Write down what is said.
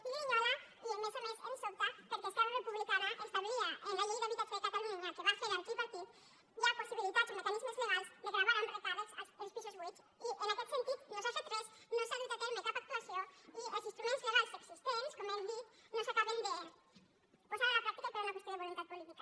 i grinyola i a més a més ens sobta perquè esquerra republicana establia en la llei d’habitatge de catalunya que va fer el tripartit ja possibilitats i mecanismes legals de gravar amb recàrrecs els pisos buits i en aquest sentit no s’ha fet res no s’ha dut a terme cap actuació i els instruments legals existents com hem dit no s’acaben de posar a la pràctica per una qüestió de voluntat política